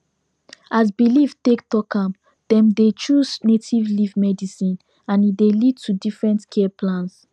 as belief take talk am dem dey choose native leaf medicine and e dey lead to different care plans